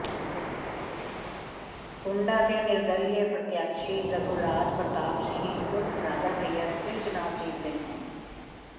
कुंडा के निर्दलीय प्रत्याशी रघुराज प्रताप सिंह ऊर्फ राजा भैया फिर चुनाव जीत गए हैं